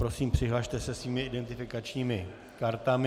Prosím, přihlaste se svými identifikačními kartami.